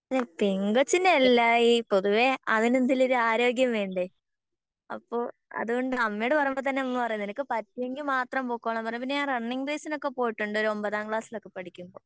ഈ പെങ്കൊച്ചിൻ്റെ എല്ലായി പൊതുവെ അവന് എന്തേലും ഒരു ആരോഗ്യം വേണ്ടേ അപ്പൊ അതുകൊണ്ട് അമ്മേട് പറഞ്ഞപ്പോ തന്നെ അമ്മ പറഞ്ഞ് നിനക്ക് പറ്റുമെങ്കി മാത്രം പൊക്കോളാൻ പറഞ്ഞ് എന്നാപ്പിന്നെ ഞാൻ റണ്ണിങ് റേസിനൊക്കെ പോയിട്ടുണ്ട് ഒരു ഒമ്പതാം ക്ലാസ്സിൽ ഒക്കെ പഠിക്കുമ്പോ